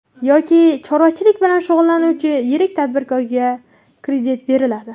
Yoki chorvachilik bilan shug‘ullanuvchi yirik tadbirkorga kredit beriladi.